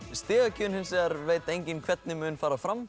stigagjöfin hins vegar veit enginn hvernig mun fara fram